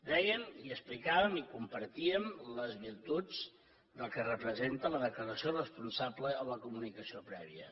dèiem i explicàvem i compartíem les virtuts del que representa la declaració responsable o la comunicació prèvia